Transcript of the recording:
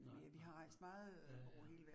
Nej nej nej, ja ja